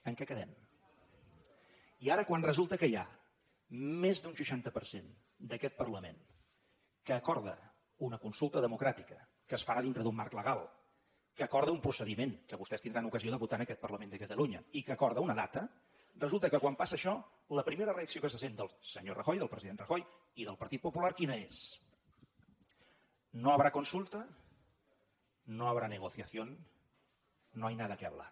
en què quedem i ara quan resulta que hi ha més d’un seixanta per cent d’aquest parlament que acorda una consulta democràtica que es farà dintre d’un marc legal que acorda un procediment que vostès tindran ocasió de votar en aquest parlament de catalunya i que acorda una data resulta que quan passa això la primera reacció que se sent del senyor rajoy del president rajoy i del partit popular quina és no habrá consulta no habrá negociación no hay nada que hablar